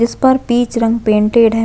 इस पर पीच रंग पेंटेड है।